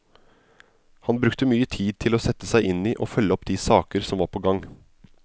Han brukte mye tid til å sette seg inn i og følge opp de saker som var på gang.